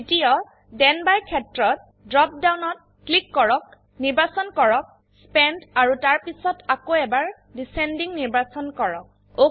দ্বিতীয় then by ক্ষেত্ৰত drop ডাউনত ক্লিক কৰক নিৰ্বাচন কৰক স্পেন্ট আৰু তাৰপিছত আকৌ এবাৰ ডিচেণ্ডিং নিৰ্বাচন কৰক